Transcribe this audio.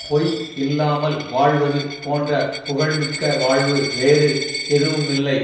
பொய் இல்லாமல் வாழ்வது போன்ற புகழ் மிக்க வாழ்வு வேறு எதுவுமில்லை